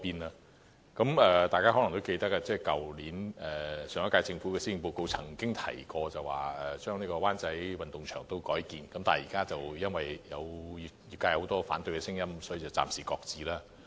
大家可能也記得，上一屆政府在去年的施政報告曾經提及將灣仔運動場改建成會展設施，但因為出現很多反對聲音，所以計劃暫時擱置。